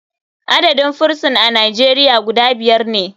Adadin firison a nijeria guda biyar ne.